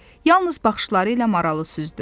Yalnız baxışları ilə maralı süzdü.